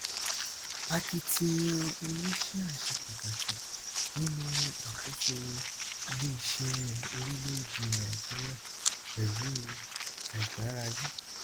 akitiyan oníṣíà ṣe pàtàkì nínú àkóso iléiṣẹ orílẹèdè nàìjíríà pẹlú àìgbáralé